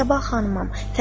Mən Səbah xanımam.